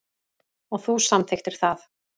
Og þú samþykktir það.